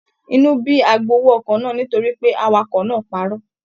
Inú bí agbowó ọkọ̀ náà nítorí pé awakọ̀ náà parọ́.